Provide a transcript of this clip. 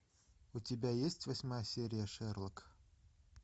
у тебя есть восьмая серия шерлок